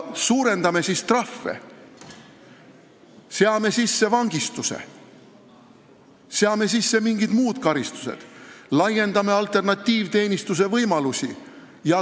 Suurendame siis trahve, seame sisse vangistuse, seame sisse mingid muud karistused, laiendame alternatiivteenistuse võimalusi!